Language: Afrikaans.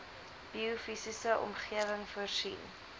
biofisiese omgewing voorsien